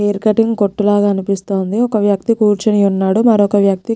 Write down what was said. Hair cutting కొట్టులాగా అనిపిస్తుందిఒక్కా వ్యక్తి కూర్చొని ఉన్నాడు మరొక వ్యక్తి.